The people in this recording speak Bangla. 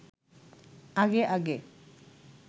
আগে আগে